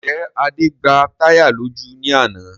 Ǹjẹ́ Adé gba táyé lójú ní àná